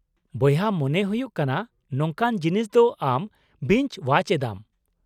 ᱵᱚᱭᱦᱟ, ᱢᱚᱱᱮ ᱦᱩᱭᱩᱜ ᱠᱟᱱᱟ ᱱᱚᱝᱠᱟᱱ ᱡᱤᱱᱤᱥ ᱫᱚ ᱟᱢ ᱵᱤᱧᱪ ᱳᱣᱟᱪ ᱮᱫᱟᱢ ᱾